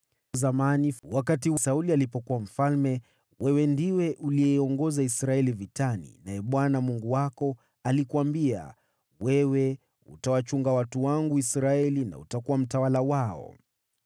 Zamani, wakati Sauli alikuwa mfalme, wewe ndiwe uliyeiongoza Israeli vitani, naye Bwana Mungu wako alikuambia, ‘Wewe utawachunga watu wangu Israeli, na utakuwa mtawala wao.’ ”